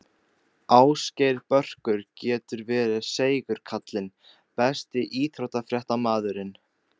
Ásgeir Börkur getur verið seigur kallinn Besti íþróttafréttamaðurinn?